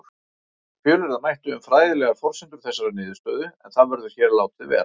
Fjölyrða mætti um fræðilegar forsendur þessarar niðurstöðu en það verður hér látið vera.